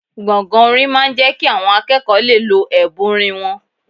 Gbọ̀ngàn orin máa ń jẹ́ kí àwọn akẹ́kọ̀ọ́ lè lo ẹ̀bùn orin wọn